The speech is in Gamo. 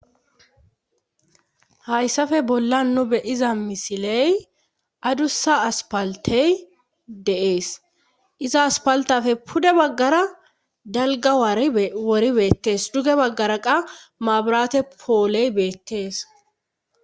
hayssafe bolla nobe iza misiley addussa aspaltey deees iza aspaltafe pude baggara dalga wari wori beettees duge baggara qa maaburate pooley beettees